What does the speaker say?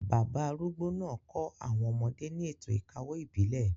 Bàbá arúgbó náà kọ́ àwọn ọmọdé ní ètò ìkawó ìbílẹ̀,